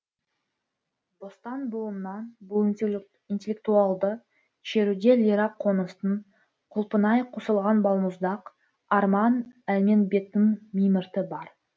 бостан буыннан бұл интеллектуалды шеруде лира қоныстың құлпынай қосылған балмұздақ арман әлменбеттің мимырты бар